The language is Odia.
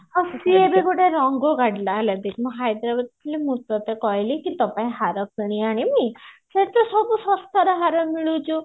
ଆଉ ସିଏ ବି ଗୋଟେ ରଙ୍ଗ କାଢିଲା ହେଲା କି ମୁଁ ହଇଦ୍ରାବାଦ ରେ ଥିଲି ମୁଁ ଟଟେ କହିଲି କି ତୋ ପାଇଁ ହାର କିଣି ଆଣିବି ସେଠି ସବୁ ଶସ୍ତାରେ ହାର ମିଳୁଛି